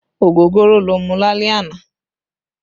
Ogogoro ló mú lálẹ́ àná